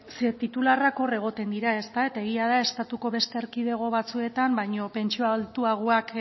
ze titularrak hor egoten dira ezta eta egia da estatuko beste erkidego batzuetan baino pentsio altuagoak